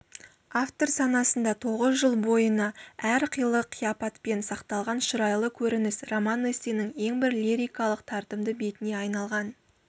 автор санасында тоғыз жыл бойына әр қилы қияпатпен сақталған шұрайлы көрініс роман-эссенің ең бір лирикалық тартымды бетіне айналған